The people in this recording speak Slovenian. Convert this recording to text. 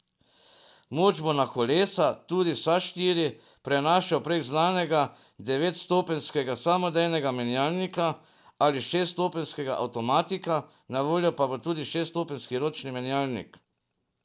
Moč bo na kolesa, tudi vsa štiri, prenašal prek znanega devetstopenjskega samodejnega menjalnika ali šeststopenjskega avtomatika, na voljo pa bo tudi šeststopenjski ročni menjalnik.